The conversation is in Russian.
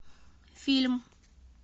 фильм